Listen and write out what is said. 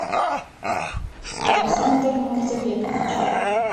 александр мурзабекович